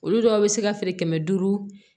Olu dɔw bɛ se ka feere kɛmɛ duuru